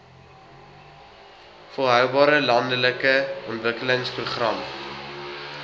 volhoubare landelike ontwikkelingsprogram